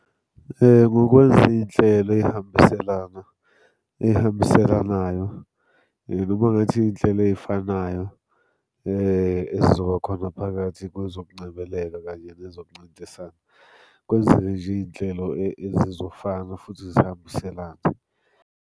Ngokwenza iy'nhlelo ey'hambiselana, ey'hambiselanayo noma kungathiwa iy'nhlelo ey'fanayo, ezizoba khona phakathi kwezokungcebeleka kanye nezokuncintisana. Kwenzeke nje iy'nhlelo ezizofana futhi zihambiselane.